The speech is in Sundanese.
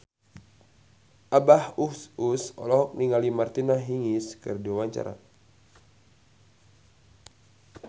Abah Us Us olohok ningali Martina Hingis keur diwawancara